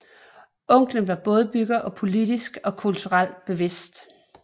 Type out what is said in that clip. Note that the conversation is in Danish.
Onklen var bådbygger og politisk og kulturelt bevidst